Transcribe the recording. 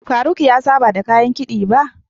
Faruq ya saba da kayan kiɗi ba.